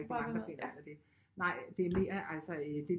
Rigtig mange der finder ud af det nej det er mere altså øh det